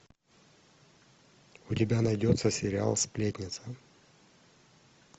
у тебя найдется сериал сплетница